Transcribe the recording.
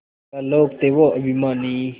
क्या लोग थे वो अभिमानी